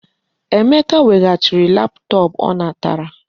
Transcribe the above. Emeka weghachiri laptop o natara.